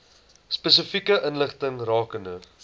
spesifieke inligting rakende